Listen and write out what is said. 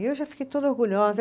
E eu já fiquei toda orgulhosa.